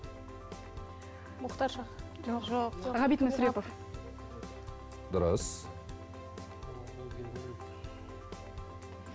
мұхтар жоқ жоқ ғабит мүсірепов дұрыс